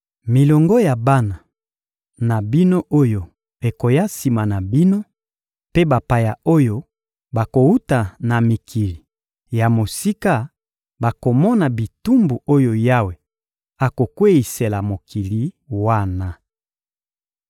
Milongo ya bana na bino oyo ekoya sima na bino mpe bapaya oyo bakowuta na mikili ya mosika bakomona bitumbu oyo Yawe akokweyisela mokili wana.